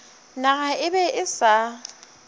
naga e be e sa